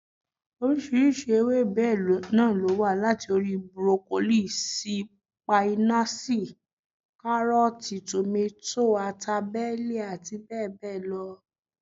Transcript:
Oríṣiríṣi ewébẹ̀ náà ló wà, láti orí: burokolíì, sípáínáṣì, kárọ̀tì, tòmátò, ata bẹ́ẹ̀lì àti bẹ́ẹ̀ bẹ́ẹ̀ lọ